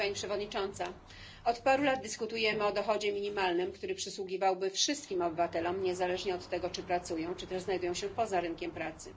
Pani Przewodnicząca! Od paru lat dyskutujemy o dochodzie minimalnym, który przysługiwałby wszystkim obywatelom niezależnie od tego, czy pracują, czy też znajdują się poza rynkiem pracy.